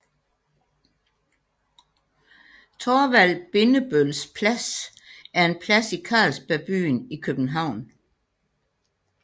Thorvald Bindebølls Plads er en plads i Carlsberg Byen i København